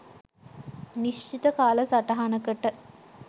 නිශ්චිත කාල සටහනකට.